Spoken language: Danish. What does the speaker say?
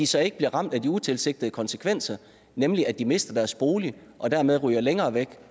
så ikke bliver ramt af de utilsigtede konsekvenser nemlig at de mister deres bolig og dermed ryger længere væk